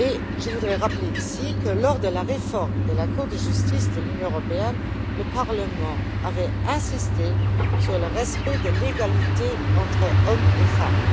Je voudrais rappeler ici que, lors de la réforme de la Cour de justice de l'Union, le Parlement avait insisté sur le respect de l'égalité entre hommes et femmes.